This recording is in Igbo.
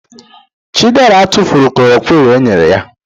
Chidera tufuru kolorokwini enyere ya